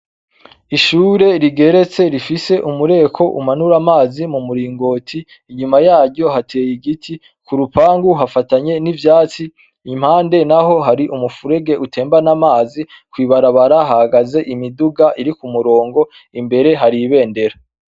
Ishure rigeretse rifise umureko umanura amazi mu muringoti inyuma yaryo hateye igiti ku rupangu hafatanye n'ivyatsi impande na ho hari umufurege utembane amazi kwibarabara hagaze imiduga iri ku murongo imbere haribendera.